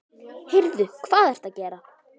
Heyrðu. hvað ertu að gera?